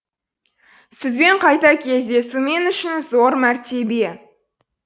сізбен қайта кездесу мен үшін зор мәртебе